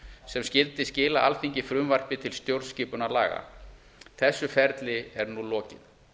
sem skyldi skila alþingi frumvarpi til stjórnarskipunarlaga þessu ferli er nú lokið